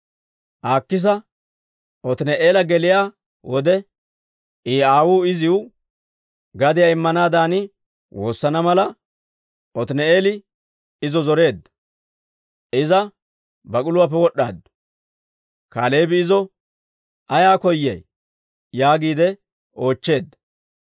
Aakisa Otini'eela geliyaa wode, I aawuu iziw gadiyaa immanaadan woosana mala, Otini'eeli izo zoreedda. Iza bak'uluwaappe wod'd'aaddu; Kaaleebi izo, «Ayaa koyay?» yaagiide oochcheedda.